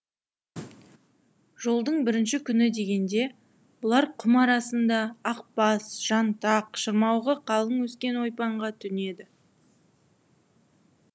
жолдың бірінші күні дегенде бұлар құм арасыңда ақбас жантақ шырмауығы қалың өскен ойпаңға түнеді